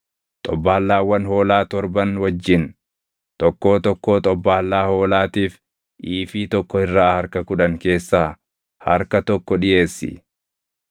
xobbaallaawwan hoolaa torban wajjin tokkoo tokkoo xobbaallaa hoolaatiif iifii tokko irraa harka kudhan keessaa harka tokko dhiʼeessi.